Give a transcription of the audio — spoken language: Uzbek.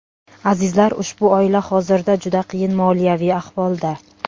Azizlar, ushbu oila hozirda juda qiyin moliyaviy ahvolda.